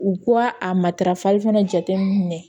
U ka a matarafali fana jate minɛ